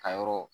A yɔrɔ